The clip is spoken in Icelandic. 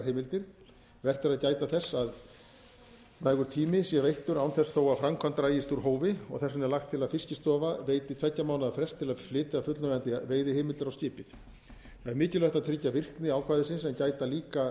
heimildir vert er að gæta þess að nægur tími sé veittur án þess þó að framkvæmd dragist úr hófi og þess vegna er lagt til að fiskistofa veiti tveggja mánaða frest til að flytja fullnægjandi veiðiheimildir á skipið það er mikilvægt að tryggja virkni ákvæðisins en gæta líka